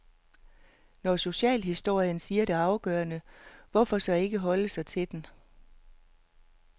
Når socialhistorien siger det afgørende, hvorfor så ikke holde sig til den.